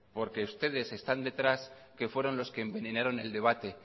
porque ustedes están detrás que fueron los que envenenaron el debate